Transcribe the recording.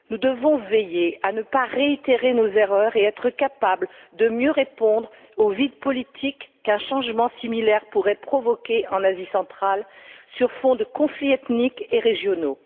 Nous devons veiller à ne pas réitérer nos erreurs et être capables de mieux répondre au vide politique qu'un changement similaire pourrait provoquer en Asie centrale, sur fond de conflits ethniques et régionaux.